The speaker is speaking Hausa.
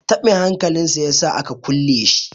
tabin hankalin ya sa a kulle shi